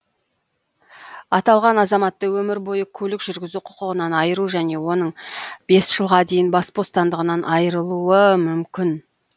аталған азаматты өмір бойы көлік жүргізу құқығынан айыру және оның бес жылға дейін бас бостандығынан айырылуы мүмкін